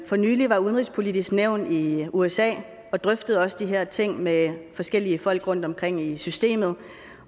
for nylig var udenrigspolitisk nævn i usa og drøftede også de her ting med forskellige folk rundtomkring i systemet